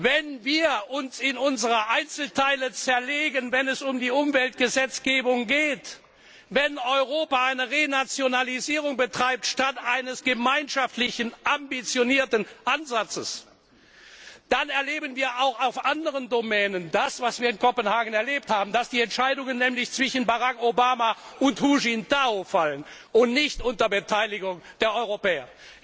Wenn wir uns in unsere Einzelteile zerlegen, wenn es um die Umweltgesetzgebung geht, wenn Europa eine Renationalisierung betreibt statt eines gemeinschaftlichen ambitionierten Ansatzes, dann erleben wir auch auf anderen Gebieten das, was wir in Kopenhagen erlebt haben, nämlich dass die Entscheidungen zwischen Barack Obama und Hu Jintao fallen und nicht unter Beteiligung der Europäer.